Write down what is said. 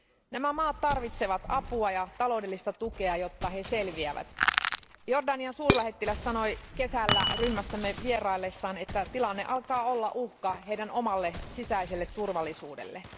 Nämä maat tarvitsevat apua ja taloudellista tukea, jotta he selviävät. Jordanian suurlähettiläs sanoi kesällä ryhmässämme vieraillessaan, että tilanne alkaa olla uhka heidän omalle sisäiselle turvallisuudelleen.